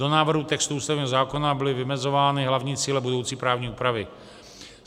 Do návrhu textu ústavního zákona byly vymezovány hlavní cíle budoucí právní úpravy.